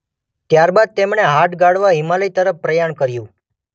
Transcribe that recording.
ત્યાર બાદ તેમણે હાડ ગાળવા હિમાલય તરફ પ્રયાણ કર્યું.